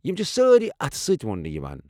یم چھِ سٲری اتھٕ سۭتۍ وونٛنہٕ یوان۔